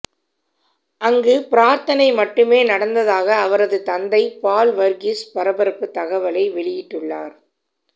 அங்கு பிரார்த்தனை மட்டுமே நடந்ததாக அவரது தந்தை பால் வர்கீஸ் பரபரப்பு தகவலை வெளியிட்டுள்ளார்